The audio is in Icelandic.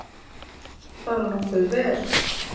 Bara nokkuð vel.